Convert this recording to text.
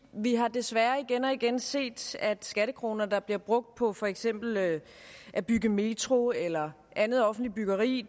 vi har desværre igen og igen set at skattekroner der bliver brugt på for eksempel at at bygge metro eller andet offentligt byggeri